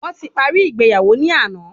Wọn ti paríi ìgbéyàwó ni àná